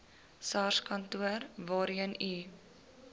sarskantoor waarheen u